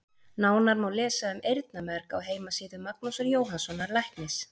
Nánar má lesa um eyrnamerg á heimasíðu Magnúsar Jóhannssonar læknis.